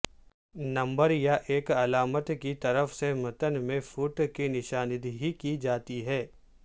number یا ایک علامت کی طرف سے متن میں فوٹ کی نشاندہی کی جاتی ہے